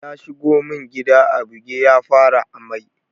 Ya shigo mun gida a buge ya fara ammai.